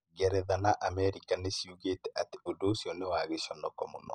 Ngeretha na Amerika nĩ ciugĩte atĩ ũndũ ũcio nĩ 'wa gĩconoko' mũno.